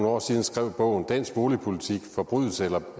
år siden skrev bogen dansk boligpolitik forbrydelse